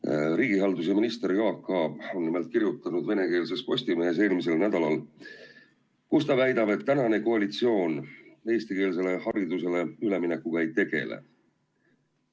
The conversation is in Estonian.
Nimelt, riigihalduse minister Jaak Aab on eelmisel nädalal venekeelses Postimehes kirjutanud ja väitnud, et praegune koalitsioon eestikeelsele haridusele üleminekuga ei tegele.